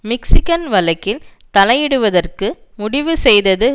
Michigan வழக்கில் தலையிடுவதற்கு முடிவு செய்தது